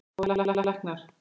Það voru læknar.